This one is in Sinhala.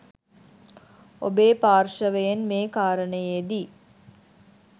ඔබේ පාර්ශවයෙන් මේ කාරණයේදී